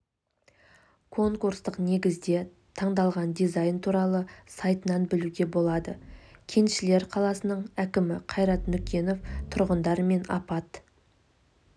конкурстық негізде таңдалған дизайн туралы сайтынан білуге болады кеншілер қаласының әкімі қайрат нүкенов тұрғындар мен апат